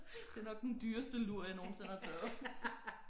Det er nok den dyreste lur jeg nogensinde har taget